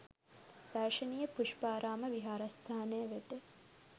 දර්ශනීය පුෂ්පාරාම විහාරස්ථානය වෙත